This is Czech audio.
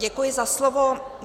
Děkuji za slovo.